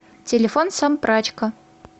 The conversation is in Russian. телефон сампрачка